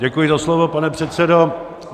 Děkuji za slovo, pane předsedo.